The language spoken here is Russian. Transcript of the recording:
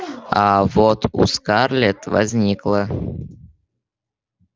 а вот у скарлетт возникло